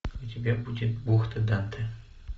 у тебя будет бухта данте